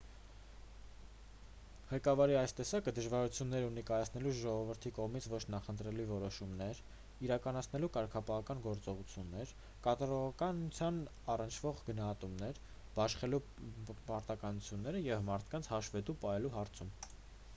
ղեկավարի այս տեսակը դժվարություններ ունի կայացնելու ժողովրդի կողմից ոչ նախընտրելի որոշումներ իրականացնելու կարգապահական գործողություններ կատարողականությանն առնչվող գնահատումներ բաշխելու պարտականությունները և մարդկանց հաշվետու պահելու հարցում